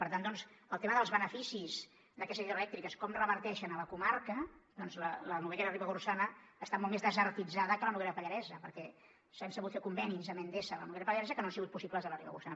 per tant doncs el tema dels beneficis d’aquestes hidroelèctriques com reverteixen a la comarca la noguera ribagorçana està molt més desertitzada que la noguera pallaresa perquè s’han sabut fer convenis amb endesa a la noguera pallaresa que no han sigut possibles a la ribagorçana